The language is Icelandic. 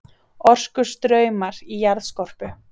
Orkustraumar í jarðskorpu